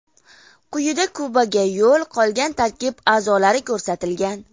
Quyida Kubaga yo‘l qolgan tarkib a’zolari ko‘rsatilgan.